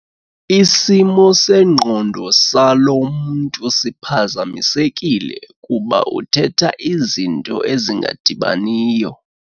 Isimo sengqondo salo mntu siphazamisekile kuba uthetha izinto ezingadibaniyo.